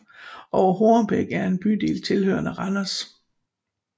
Over Hornbæk er en bydel tilhørende Randers